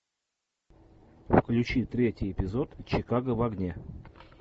включи третий эпизод чикаго в огне